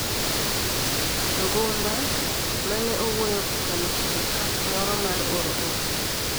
Ngumba, ma ne owuoyo kokalo kuom app moro mar oro ote,